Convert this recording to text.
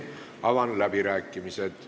Avan läbirääkimised.